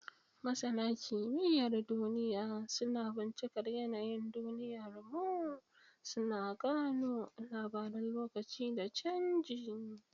Masana kimiyyar duniya suna bincikar yanayin duniyarmu, suna gano labaran lokaci da canji.